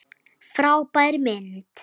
Frábær mynd!